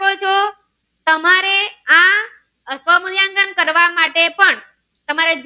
આ સ્વમુલ્યાંકન કરવા માટે પણ તમારે